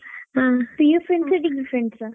ಆ PU friends ಆ degree friends ಆ?